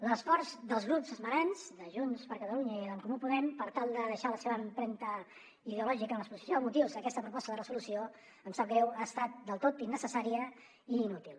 l’esforç dels grups esmenants de junts per catalunya i d’en comú podem per tal de deixar la seva empremta ideològica en l’exposició de motius d’aquesta proposta de resolució em sap greu ha estat del tot innecessària i inútil